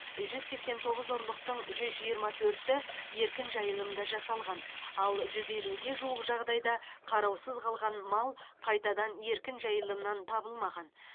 жүз сексен тоғыз ұрлықтың жүз жиырма төрті еркін жайылымда жасалған ал жүз елуге жуық жағдайда қараусыз қалған мал қайтадан еркін жайылымнан табылмаған